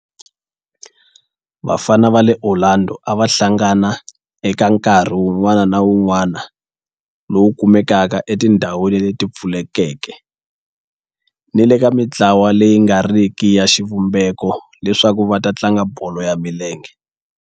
Vafana va le Orlando a va hlangana eka nkarhi wun'wana ni wun'wana lowu kumekaka etindhawini leti pfulekeke ni le ka mintlawa leyi nga riki ya xivumbeko leswaku va tlanga bolo ya milenge.